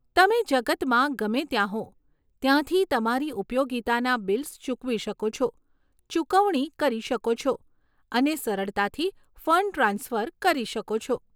તમે જગતમાં ગમે ત્યાં હો ત્યાંથી તમારી ઉપયોગિતાના બિલ્સ ચૂકવી શકો છો, ચૂકવણી કરી શકો છો અને સરળતાથી ફંડ ટ્રાન્સફર કરી શકો છો.